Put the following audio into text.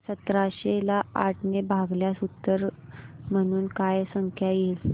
सतराशे ला आठ ने भागल्यास उत्तर म्हणून काय संख्या येईल